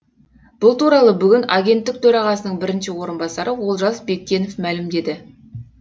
бұл туралы бүгін агенттік төрағасының бірінші орынбасары олжас бектенов мәлімдеді